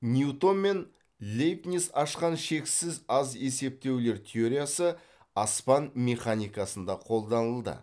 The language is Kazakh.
ньютон мен лейбниц ашқан шексіз аз есептеулер теориясы аспан механикасында қолданылды